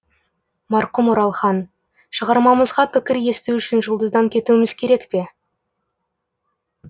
марқұм оралхан шығармамызға пікір есту үшін жұлдыздан кетуіміз керек пе